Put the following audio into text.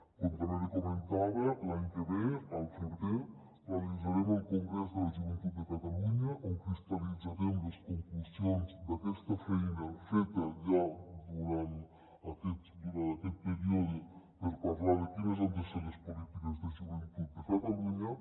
com també li comentava l’any que ve al febrer realitzarem el congrés de la joventut de catalunya on cristal·litzarem les conclusions d’aquesta feina feta ja durant aquest període per parlar de quines han de ser les polítiques de joventut de catalunya